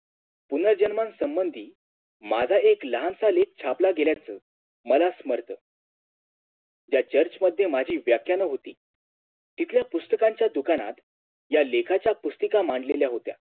पुनर्जन्मासंधर्मी माग एक लहानसा लेख छापला गेल्याच मला समर्थ त्या Church मध्ये माजी व्याख्यान होती तितल्या पुस्तकांच्या दुकानात या लेखाच्या पुस्तिका मांडलेल्या होत्या